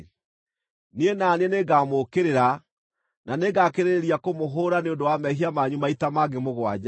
niĩ na niĩ nĩngamũũkĩrĩra, na nĩngakĩrĩrĩria kũmũhũũra nĩ ũndũ wa mehia manyu maita mangĩ mũgwanja.